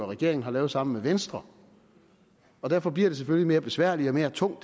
regeringen har lavet sammen med venstre derfor bliver det selvfølgelig mere besværligt og tungt